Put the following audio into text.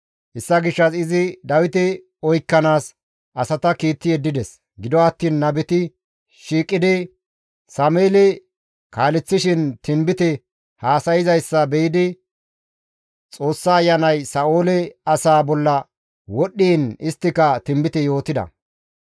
Hessa gishshas izi Dawite oykkanaas asata kiitti yeddides. Gido attiin nabeti shiiqidi Sameeli kaaleththishin tinbite haasayzayssa be7idi Xoossa Ayanay Sa7oole asaa bolla wodhdhiin isttika tinbite yootida.